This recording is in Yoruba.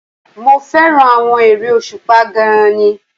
Mo fẹ́ràn àwọn eré òṣùpá gan-an ni